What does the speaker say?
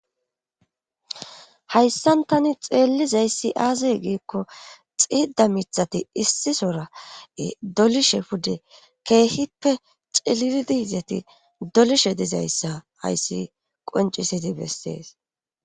Hayssan tani xeellizayssi aazey giikko xiida mithati issisora dolishe pude keehippe ciliridiizeti dolishe dizayssa hayssi qoncisiti bessees